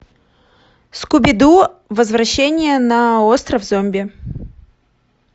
скуби ду возвращение на остров зомби